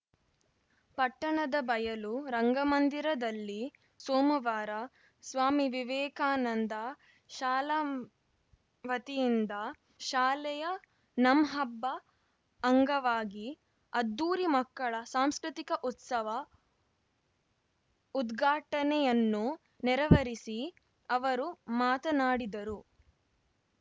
ಪಟ್ಟಣದ ಬಯಲು ರಂಗ ಮಂದಿರದಲ್ಲಿ ಸೋಮವಾರ ಸ್ವಾಮಿ ವಿವೇಕಾನಂದ ಶಾಲ ವತಿಯಿಂದ ಶಾಲೆಯ ನಂಹಬ್ಬ ಅಂಗವಾಗಿ ಅದ್ಧೂರಿ ಮಕ್ಕಳ ಸಾಂಸ್ಕೃತಿಕ ಉತ್ಸವ ಉದ್ಘಾಟನೆಯನ್ನು ನೆರವರಿಸಿ ಅವರು ಮಾತನಾಡಿದರು